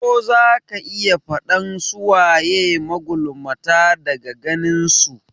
Ko zaka iya faɗan su waye magulmata daga ganin su?